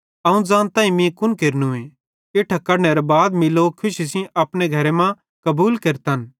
अवं ज़ानताईं कि मीं कुन केरनूए इट्ठां कढनेरे बाद मीं लोक खुशी सेइं अपने घरे मां कबूल केरतन